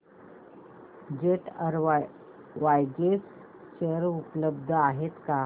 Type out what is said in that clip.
jet Airways share उपलब्ध आहेत का